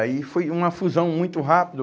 Aí foi uma fusão muito rápido.